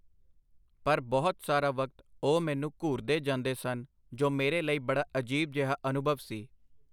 ਪਰ ਬਹੁਤ ਸਾਰਾ ਵਕਤ ਉਹ ਮੈਨੂੰ ਘੂਰਦੇ ਜਾਂਦੇ ਸਨ, ਜੋ ਮੇਰੇ ਲਈ ਬੜਾ ਅਜੀਬ ਜਿਹਾ ਅਨੁਭਵ ਸੀ.